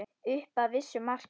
Upp að vissu marki.